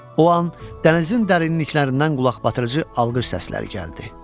O an dənizin dərinliklərindən qulaqbatırıcı alqış səsləri gəldi.